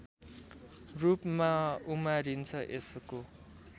रूपमा उमारिन्छ यसको